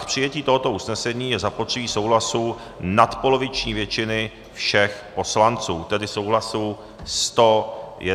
K přijetí tohoto usnesení je zapotřebí souhlasu nadpoloviční většiny všech poslanců, tedy souhlasu 101 poslance.